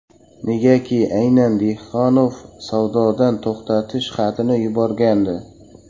Negaki aynan Dehqonov savdodan to‘xtatish xatini yuborgandi.